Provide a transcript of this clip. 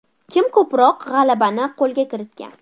Kim ko‘proq g‘alabani qo‘lga kiritgan?